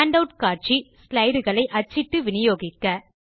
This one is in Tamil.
ஹேண்டவுட் காட்சி ஸ்லைடு களை அச்சிட்டு வினியோகிக்க